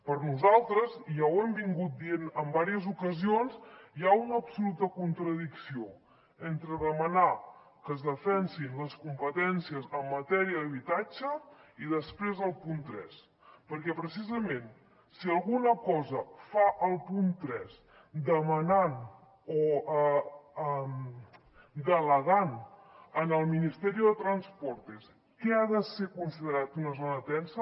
per nosaltres i ja ho hem dit en diverses ocasions hi ha una absoluta contradicció entre demanar que es defensin les competències en matèria d’habitatge i després el punt tres perquè precisament si alguna cosa fa el punt tres delegant en el ministerio de transportes què ha de ser considerat una zona tensa